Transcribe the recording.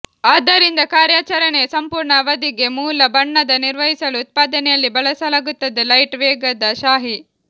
ಆದ್ದರಿಂದ ಕಾರ್ಯಾಚರಣೆಯ ಸಂಪೂರ್ಣ ಅವಧಿಗೆ ಮೂಲ ಬಣ್ಣದ ನಿರ್ವಹಿಸಲು ಉತ್ಪಾದನೆಯಲ್ಲಿ ಬಳಸಲಾಗುತ್ತದೆ ಲೈಟ್ ವೇಗದ ಶಾಯಿ